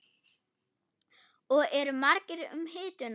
Og eru margir um hituna?